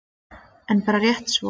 En bara rétt svo.